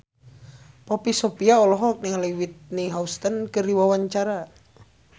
Poppy Sovia olohok ningali Whitney Houston keur diwawancara